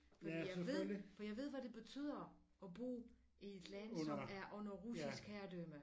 Fordi jeg ved jeg ved hvad det betyder at bo i et land som er under russisk herredømme